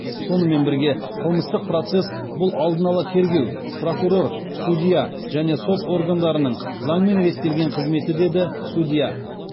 сонымен бірге қылмыстық процесс бұл алдын ала тергеу прокурор судья және сот органдарының заңмен реттелген қызметі деді судья